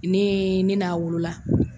Ne ne y'a wolola.